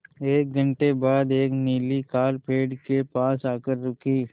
एक घण्टे बाद एक नीली कार पेड़ के पास आकर रुकी